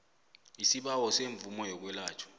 isibawo semvumo yokwelatjhwa